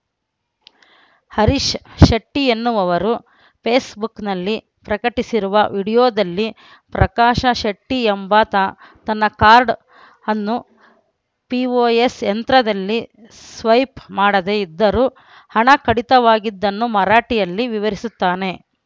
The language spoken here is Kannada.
ಹರೀಶ್‌ ಶೆಟ್ಟಿ ಎನ್ನುವವರು ಫೇಸ್‌ಬುಕ್‌ನಲ್ಲಿ ಪ್ರಕಟಿಸಿರುವ ವಿಡಿಯೋದಲ್ಲಿ ಪ್ರಕಾಶ ಶೆಟ್ಟಿಎಂಬಾತ ತನ್ನ ಕಾರ್ಡ್‌ ಅನ್ನು ಪಿಒಎಸ್‌ ಯಂತ್ರದಲ್ಲಿ ಸ್ವೈಪ್‌ ಮಾಡದೇ ಇದ್ದರೂ ಹಣ ಕಡಿತವಾಗಿದ್ದನ್ನು ಮರಾಠಿಯಲ್ಲಿ ವಿವರಿಸುತ್ತಾನೆ